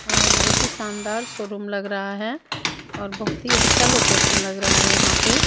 और बहोत ही शानदार शोरूम लग रहा है और बहोत ही अच्छा लोकेशन लग रहा है यहां पे।